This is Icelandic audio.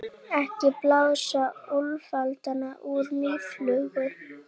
Ekki blása úlfalda úr mýflugu